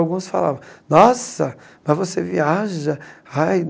Alguns falavam, nossa, mas você viaja? Ai